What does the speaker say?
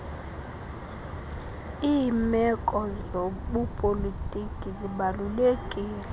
limeko zobupolitika zibalulekile